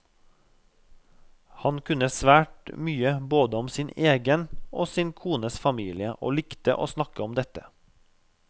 Han kunne svært mye både om sin egen og sin kones familie og likte å snakke om dette.